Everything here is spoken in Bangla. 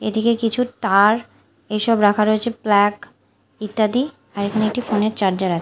এদিকে কিছু তার এসব রাখা রয়েছে প্লাক ইত্যাদি আর এখানে একটি ফোন -এর চার্জার আছে।